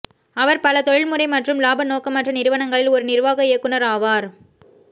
அவர் பல தொழில்முறை மற்றும் இலாப நோக்கமற்ற நிறுவனங்களில் ஒரு நிர்வாக இயக்குனர் ஆவார்